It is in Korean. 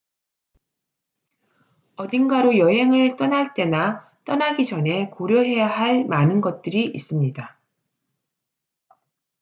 어딘가로 여행을 떠날 때나 떠나기 전에 고려해야 할 많은 것들이 있습니다